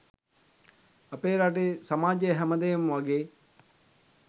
අපේ රටේ සමාජය හැම දේම වගේ